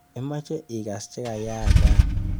Imeche ikas chekayaak rani?